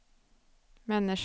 människa